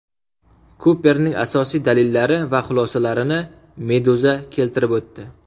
Kuperning asosiy dalillari va xulosalarini Meduza keltirib o‘tdi .